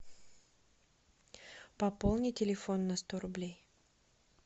пополни телефон на сто рублей